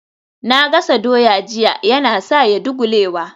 Na gasa doya jiya Yana sa ya dagulewa